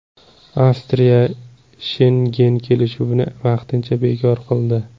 Avstriya Shengen kelishuvini vaqtincha bekor qildi.